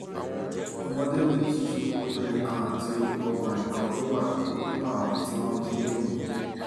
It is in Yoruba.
ọmọdé méjì obìnrin kan àti ọkùnrin kan ló wà nínú àwọn tí wọ́n jí gbé yìí